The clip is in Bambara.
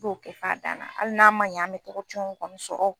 T'o Kɛ f'a dan na ali n'a ma ɲɛn an be togo kɔni sɔrɔ